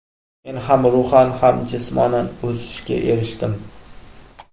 Men ham ruhan ham jismonan o‘sishga erishdim.